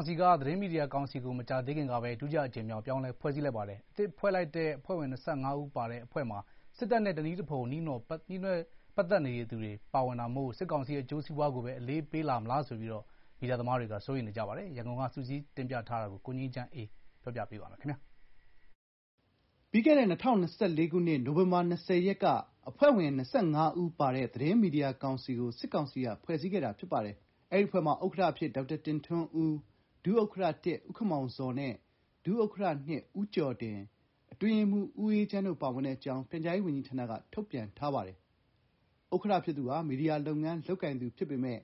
င်က သတင်းမီဒီယာကောင်စီကို ဒုတိယအကြိမ်မြောက် ပြောင်းလဲဖွဲ့စည်းလိုက်ပါတယ်။ အသစ်ဖွဲ့လိုက်တဲ့ အဖွဲ့ဝင် ၂၅ ဦးမှာ စစ်တပ်နဲ့ ဆက်နွယ်သူတွေ၊ စစ်အရာရှိဟောင်းတွေဖွဲ့ထားတဲ့ ကြံ့ခိုင်ရေး ပါတီဝင်တွေပါဝင်တာမို့ စစ်ကောင်စီ အကျိုးစီးပွားကို အလေးပေးလာမလားဆိုပြီး ပြည်တွင်း ပြည်ပ မီဒီယာ သမားတွေက စိုးရိမ်ကြပါတယ်။ ရန်ကုန်က စုစည်းတင်ပြထားတာကို ပြောပြပေးပါမယ်။ ပြီးခဲ့တဲ့ ၂၀၂၄ ခုနှစ်၊ နိုဝင်ဘာ ၂၀ ရက်က အဖွဲ့ဝင် ၂၅ ဦးပါတဲ့ သတင်းမီဒီယာကောင်စီကို စစ်ကောင်စီက ဖွဲ့စည်းခဲ့တာဖြစ်ပါတယ်။ အဲဒီအဖွဲ့မှာ ဥက္ကဋ္ဌ အဖြစ် ဒေါက်တာတင်ထွန်းဦး၊ ဒုဥက္ကဋ္ဌ ဦးခင်မောင်ဇော်နဲ့ ဒုဥက္ကဋ္ဌ ဦးကျော်ဒင်၊ အတွင်းရေးမှူး ဦးအေးချမ်း တို့ပါဝင်တဲ့အကြောင်း ပြန်ကြားရေးဝန်ကြီးဌာနက ထုတ်ပြန်ထားပါတယ်။ ဥက္ကဋ္ဌ ဖြစ်သူဟာမီဒီယာလုပ်ငန်း လုပ်ကိုင်သူဖြစ်ပေမဲ့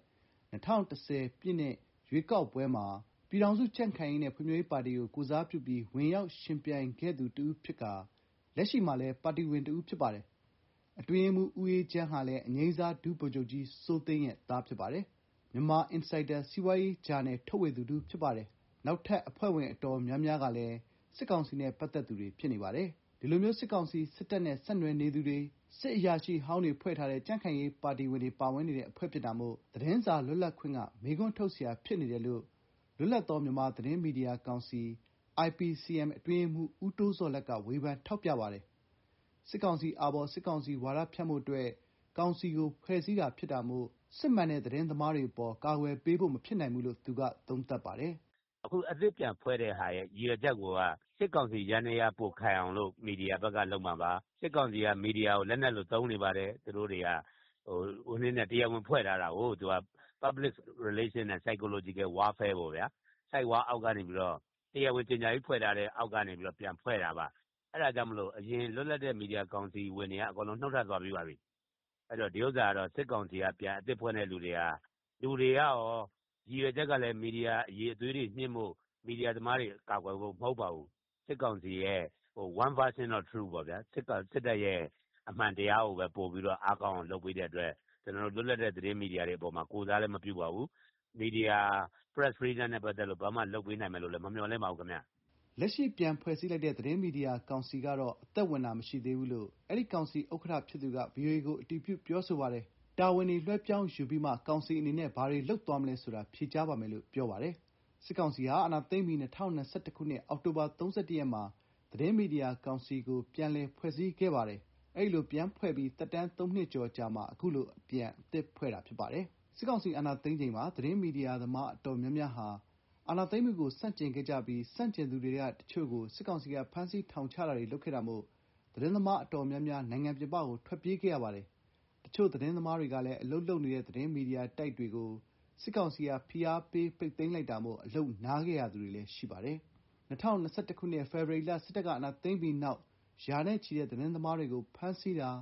၂၀၁၀ ပြည့်နှစ် ရွေးကောက်ပွဲမှာ ပြည်ထောင်စု ကြံ့ခိုင်ရေးနဲ့ ဖွံ့ဖြိုးရေးပါတီကို ကိုယ်စားပြုပြီး ဝင်ရောက် ယှဉ်ပြိုင်ခဲ့သူ တဦးဖြစ်ကာ လက်ရှိမှာလည်း ပါတီဝင်တဦးဖြစ်ပါတယ်။ အတွင်းရေးမှူး ဦးအေးချမ်းဟာလည်း အငြိမ်းစား ဒုဗိုလ်ချုပ်ကြီး စိုးသိန်းရဲ့သား ဖြစ်ပါတယ်။ Myanmar Insider စီးပွားရေးဂျာနယ်ထုတ်ဝေသူတဦးဖြစ်ပါတယ်။ နောက်ထပ် အဖွဲ့ဝင်တွေ တော်တော်များများကလည်း စစ်ကောင်စီ နဲ့ပတ်သတ်သူတွေ ဖြစ်နေပါတယ်။ ဒီလိုမျိုး စစ်ကောင်စီ စစ်တပ်နဲ့ ဆက်နွှယ်နေသူတွေ၊ စစ်အရာရှိ ဟောင်းတွေ ဖွဲ့ထားတဲ့ ကြံ့ခိုင်ရေး ပါတီဝင်တွေ ပါဝင်နေတဲ့ အဖွဲ့ဖြစ်တာမို့ သတင်းစာလွတ်လပ်ခွင့်က မေးခွန်းထုတ်စရာ ဖြစ်နေတယ်လို့ လွတ်လပ်သော မြန်မာသတင်းမီဒီယာကောင်စီ အတွင်းရေးမှူး ဦးတိုးဇော်လတ်က ဝေဖန်ထောက်ပြပါတယ်။ “အခုအသစ်ပြန်ဖွဲ့တဲ့ရည်ရွယ်ချက်ကိုက စစ်ကောင်စီယန္တရား ပိုခိုင်အောင် မီဒီယာဘက်က လုပ်မှာပါ။ စစ်ကောင်စီက မီဒီယာကို လက်နက်လို သုံးနေတယ်။ တရားဝင်ဖွဲ့ထားတာကို Public Relation နဲ့ Psychological Warfare သဘောပေါ့ဗျာ။ ဆိုက်ဝါးအောက်ကနေ တရားဝင် ကြေညာပြီးပြန်ဖွဲ့တာပါ။ အဲဒါကြောင့် အရင် လွတ်လပ်တဲ့ မီဒီယာကောင်စီကလူတွေ နုတ်ထွက်သွားပြီးပါပြီ။ အခု အသစ်ဖွဲ့တာမှာလည်း လူတွေကကော မီဒီယာအရည်အသွေးမြှင့်ဖို့၊ မီဒီယာသမားတွေ ကာကွယ်ဖို့ မဟုတ်ပါဘူး။ စစ်ကောင်စီအတွက် One version of the truth ပေါ့ စစ်တပ် အမှန်တရားကိုသာ အားကောင်းအောင် လုပ်ပေးတဲ့အတွက် လွတ်လပ်တဲ့ သတင်းမီဒီယာတွေအပေါ် ကိုယ်စားလဲမပြုပါဘူး။ မီဒီယာ လွတ်လပ်ခွင့်အတွက် လုပ်ပေးနိုင်မယ်လို့လဲ မမျှော်လင့်ပါဘူးခင်ဗျ။” လက်ရှိ ပြန်ဖွဲ့စည်းလိုက်တဲ့ သတင်းမီဒီယာကောင်စီကတော့ အသက်ဝင်တာ မရှိသေးဘူးလို့ အဲဒီ ကောင်စီ ဥက္ကဋ္ဌဖြစ်သူက ဗွီအိုအေကို အတည်ပြုပြောဆိုပါတယ်။ တာဝန်တွေ လွှဲပြောင်းယူပြီးမှ ကောင်စီအနေနဲ့ ဘာတွေလုပ်သွားမလဲဆိုတာ ဖြေကြားပါမယ်လို့ ပြောဆိုထာပါတယ်။ စစ်ကောင်စီဟာ အာဏာသိမ်းပြီး ၂၀၂၁ ခုနှစ် အောက်တိုဘာ ၃၁ ရက်မှာ သတင်းမီဒီယာကောင်စီကို ပြန်လည်ဖွဲ့စည်းခဲ့ပါတယ်။ အဲဒီလို ပြန်ဖွဲ့ပြီး သက်တမ်း ၃ နှစ်ကျော်အကြာမှာ အခုလိုပြန်အသစ်ဖွဲ့တာဖြစ်ပါတယ်။ စစ်ကောင်စီ အာဏာသိမ်းချိန်မှာ သတင်း မီဒီယာသမား တော်တော်များများဟာ စစ်အာဏာသိမ်းမှုကို ဆန့်ကျင်ခဲ့ကြပြီး ဆန့်ကျင်သူတွေထဲက တချို့ကို စစ်ကောင်စီက ဖမ်းဆီးထောင်ချတာတွေ လုပ်ခဲ့တာမို့ သတင်းသမား တော်တော်များများ နိုင်ငံပြင်ပကို ထွက်ပြေးခဲ့ရပါတယ်။ တချို့ သတင်းသမားတွေလည်း အလုပ်လုပ်နေတဲ့ သတင်းမီဒီယာတိုက်တွေကို စစ်ကောင်စီက ဖိအားပေး ပိတ်သိမ်းလိုက်တာမို့ အလုပ်နားခဲ့ရသူတွေလည်း ရှိပါတယ်။ ၂၀၂၁ ခုနှစ် ဖေဖော်ဝါရီလ စစ်တပ်ကအာဏာသိမ်းပြီးနောက် ရာနဲ့ချီတဲ့ သတင်းသမားတွေကို ဖမ်းဆီးတာ၊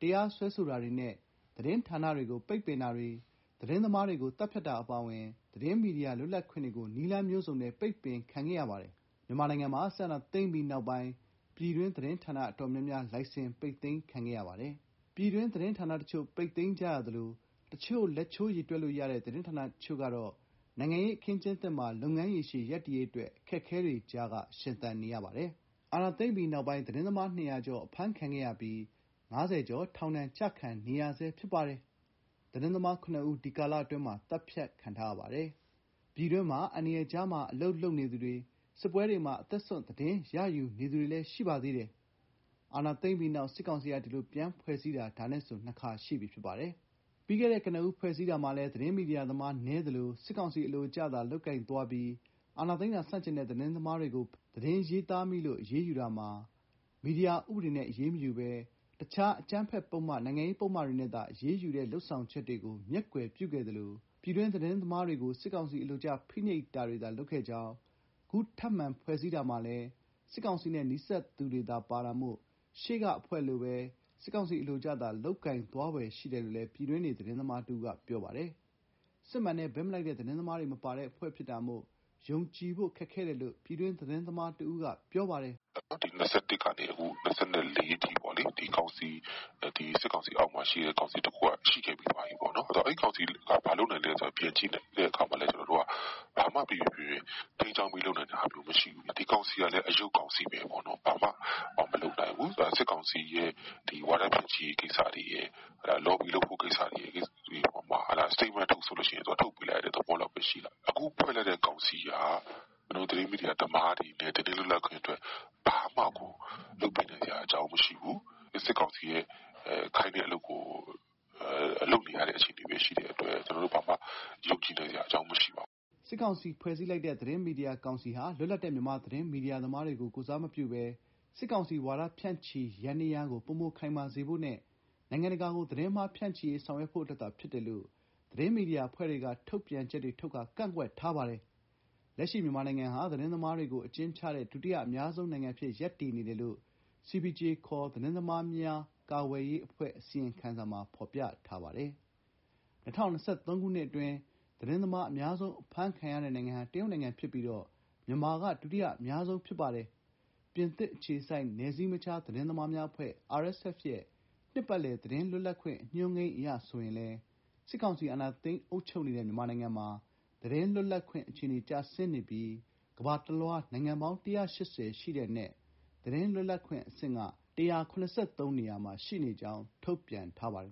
တရားစွဲဆိုတာတွေနဲ့ သတင်းဌာနတွေကို ပိတ်ပင်တာတွေ၊ သတင်းသမားတွေကို သတ်ဖြတ်တာအပါအဝင် သတင်းမီဒီယာ လွတ်လပ်ခွင့်တွေကို နည်းလမ်းမျိုးစုံနဲ့ ပိတ်ပင်ခံခဲ့ရပါတယ်။ မြန်မာနိုင်ငံမှာ စစ်အာဏာသိမ်းပြီး နောက်ပိုင်း ပြည်တွင်းသတင်းဌာန အတော်များများ လိုင်စင် ပိတ်သိမ်းခံခဲ့ရပါတယ်။ ပြည်တွင်း သတင်းဌာနတချို့ ပိတ်သိမ်းကြသလို တချို့သော လက်ချိုးရေတွက်လို့ရတဲ့ သတင်းဌာနအချို့ ကတော့ နိုင်ငံရေး အခင်းအကျင်းသစ်မှာ လုပ်ငန်းရေရှည် ရပ်တည်ရေးအတွက် အခက်အခဲတွေကြားက ရှင်သန်နေရပါတယ်။ အာဏာသိမ်းပြီးနောက် သတင်းသမား ၂၀၀ ကျော် အဖမ်းခံခဲ့ရပြီး ၅၀ ကျော် ထောင်ဒဏ်ကျခံနေရဆဲဖြစ်ပါတယ်။ သတင်းသမား ၇ ဦး ဒီကာလအတွင်း သတ်ဖြတ်ခံထားရပါတယ်။ ပြည်တွင်းမှာ အန္တရာယ်ကြားမှာ အလုပ်လုပ်နေသူတွေ၊ စစ်ပွဲတွေမှာ အသက်စွန့် သတင်းရယူနေသူတွေ ရှိနေပါသေးတယ်။ အာဏာသိမ်းပြီးနောက် စစ်ကောင်စီက ဒီလိုပြန်ဖွဲ့စည်းတာ ဒါနဲ့ဆို ၂ခါရှိပြီ ဖြစ်ပါတယ်။ ပြီးခဲ့တဲ့ ကနဦး ဖွဲ့စည်းတာမှာလည်း သတင်းမီဒီယာသမား နည်းသလို စစ်ကောင်စီ အလိုကျသာ လုပ်ကိုင်သွားပြီး အာဏာသိမ်းတာ ဆန့်ကျင်တဲ့ သတင်းသမားတွေကို ဖမ်းဆီးအရေးယူတာ မှာ သတင်းရေးသားမိလို့ အရေးယူတာမှာ မီဒီယာဥပဒေနဲ့ အရေးမယူဘဲ တခြား အကြမ်းဖက်ပုဒ်မ၊ နိုင်ငံရေးပုဒ်မတွေနဲ့သာ အရေးယူတဲ့ လုပ်ဆောင်ချက်တွေကို မျက်ကွယ်ပြုခဲ့သလို ပြည်တွင်း သတင်းသမားတွေကို စစ်ကောင်စီ အလိုကျ ဖိနှိပ်တာတွေသာ လုပ်ခဲ့ကြောင်း၊ အခုထပ်မံဖွဲ့စည်းတာမှာလည်း စစ်ကောင်စီနဲ့ နီးစပ်သူတွေသာ ပါတာမို့ ရှေ့ကအဖွဲနည်းတူ စစ်ကောင်စီ အလိုကျသာ လုပ်ကိုင်သွားဖွယ် ရှိတယ်လို့ ပြည်တွင်းနေ သတင်းသမားတဦးက ပြောပါတယ်။ စစ်မှန်တဲ့ ဘက်မလိုက်တဲ့ သတင်းသမားတွေ မပါတဲ့အဖွဲ့ ဖြစ်တာကြောင့် ယုံကြည်ဖို့ ခက်ခဲတယ်လို့ ပြည်တွင်း သတင်းသမား တဦးက ပြောပါတယ်။ “ ၂၀၂၁ ကနေ ၂၀၂၄အထိ စစ်ကောင်စီ လက်အောက်မှာ ကောင်စီတခုက ရှိခဲ့ပြီးသွားပြီ။ အဲဒီကောင်စီတုန်းကလည်း ဘာလုပ်နိုင်လဲ ပြန်ကြည့်ရင် ဘာမှ ပီပီပြင်ပြင် ထိန်းကျောင်းလုပ်နိုင်တာ မရှိခဲ့ဘူး။ အခု ဒီကောင်စီကလည်း အရုပ်ကောင်စီဘဲ။ စစ်ကောင်စီ ဝါဒဖြန့်ချိရေးရယ်၊ လော်ဘီ လုပ်ဖို့တွေရယ်၊ စတိတ်မန့်ထုတ်ဆို ထုတ်ပေးလိုက်ရတဲ့ အဆင့်ဘဲရှိတာ။ ခုဖွဲ့လိုက်တာလည်း ကျနော်တို့ သတင်းမီဒီယာနဲ့ သတင်းမီဒီယာ သမားတွေကို ဘာမှလုပ်ပေးနိုင်စရာမရှိဘူး။ စစ်ကောင်စီ ခိုင်းတာကို လုပ်ပေးနေရတဲ့ အဆင့်ဘဲ ရှိတဲ့အတွက် ဘာမှယုံနိုင်စရာမရှိပါဘူး။ ” စစ်ကောင်စီက ဖွဲ့စည်းထားလိုက်တဲ့ သတင်းမီဒီယာကောင်စီဟာ လွတ်လပ်တဲ့ မြန်မာသတင်းမီဒီယာ သမားတွေကို ကိုယ်စားမပြုဘဲ စစ်ကောင်စီ ဝါဒဖြန့်ချိရေး ယန္တရားကို ပိုမိုခိုင်မာစေဖို့နဲ့ နိုင်ငံတကာကို သတင်းအမှား ဖြန့်ချိရေး ဆောင်ရွက်ဖို့အတွက်သာ ဖြစ်တယ်လို့ သတင်းမီဒီယာအဖွဲ့တွေက ထုတ်ပြန်ချက်တွေထုတ်ကာကန့်ကွက်ထားပါတယ်။ လက်ရှိ မြန်မာနိုင်ငံဟာ သတင်းသမားတွေကို အကျဉ်းချတဲ့ ဒုတိယ အများဆုံးနိုင်ငံအဖြစ် ရပ်တည်နေတယ်လို့ CPJ ခေါ် သတင်းသမားများ ကာကွယ်ရေး အဖွဲ့ အစီရင်ခံစာမှာ ဖော်ပြပါတယ်။ ၂၀၂၃ ခုနှစ်အတွင်း သတင်းသမား အများဆုံး အဖမ်းခံရတဲ့ နိုင်ငံဟာ တရုတ်ဖြစ်ပြီး မြန်မာက ဒုတိယအများဆုံး ဖြစ်ပါတယ်။ ပြင်သစ်အခြေစိုက် နယ်စည်းမခြား သတင်းသမားများအဖွဲ့ ရဲ့ နှစ်ပတ်လည် သတင်းလွတ်လပ်ခွင့် အညွှန်းကိန်းအရ ဆိုရင်လည်း စစ်ကောင်စီ အာဏာသိမ်း အုပ်ချုပ်နေတဲ့ မြန်မာနိုင်ငံမှာ သတင်းလွတ်လပ်ခွင့် အခြေအနေတွေ ကျဆင်းနေပြီး ကမ္ဘာတလွှား နိုင်ငံပေါင်း ၁၈၀ အနက် သတင်း လွတ်လပ်ခွင့် အဆင့် ၁၇၃ နေရာမှာ ရှိနေကြောင်း ထုတ်ပြန်ထားပါတယ်